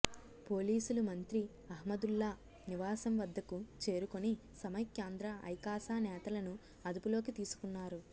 పోలీసులు మంత్రి అహ్మదుల్లా నివాసం వద్దకు చేరుకొని సమైక్యాంధ్ర ఐకాస నేతలను అదుపులోకి తీసుకున్నారు